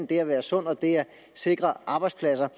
det at være sund og det at sikre arbejdspladser